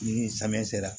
Ni samiya sera